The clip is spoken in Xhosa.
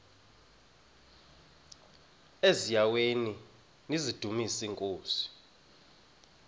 eziaweni nizidumis iinkosi